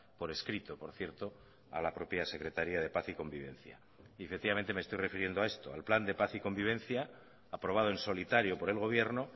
por escrito por cierto a la propia secretaría de paz y convivencia y efectivamente me estoy refiriendo a esto al plan de paz y convivencia aprobado en solitario por el gobierno